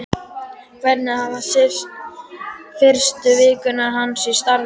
Hvernig hafa fyrstu vikur hans í starfi verið?